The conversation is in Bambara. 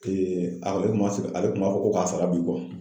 a ale kun b'a fɔ ko ka sara b'i